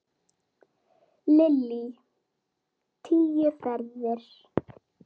Lillý: Tíu ferðir?